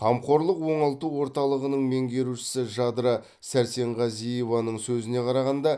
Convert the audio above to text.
қамқорлық оңалту орталығының меңгерушісі жадыра сәрсенғазиеваның сөзіне қарағанда